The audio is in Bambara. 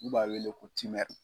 N'u b'a wele ko